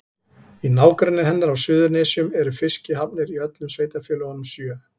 Í nágrenni hennar á Suðurnesjum eru fiskihafnir í öllum sveitarfélögunum sjö.